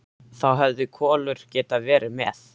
Þá hefði Kolur getað verið með.